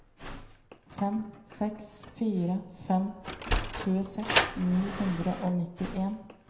fem seks fire fem tjueseks ni hundre og nittien